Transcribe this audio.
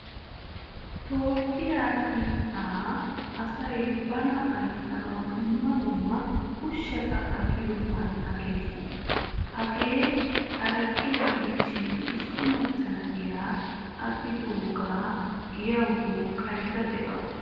Toophphiya biittaa asay bana ayssanawu dumma dumma ushshatta agiyogan aqqees. Hagee haraqqiyaa gidishin issi macca na"iyaa agidoga giyawu duqqaydda deawusu.